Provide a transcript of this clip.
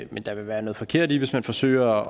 men der vil være noget forkert i hvis man forsøger